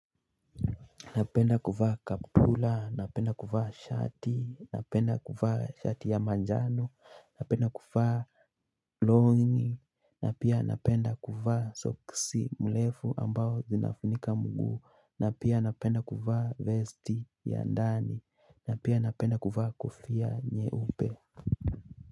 Napenda kuvaa kaptula, napenda kuvaa shati, napenda kuvaa shati ya manjano, napenda kuvaa longi, na pia napenda kuvaa soksi mrefu ambao zinafunika mguu, na pia napenda kuvaa vesti ya ndani, na pia napenda kuvaa kofia nyeupe.